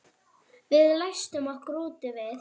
Við læstum okkur úti við